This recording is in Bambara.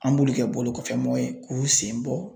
An b'olu kɛ bolokɔfɛmɔgɔ ye k'u sen bɔ